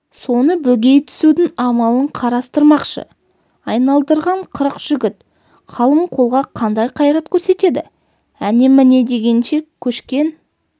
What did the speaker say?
соны бөгей түсудің амалын қарастырмақшы айналдырған қырық жігіт қалың қолға қандай қайрат көрсетеді әне-міне дегенше көшкен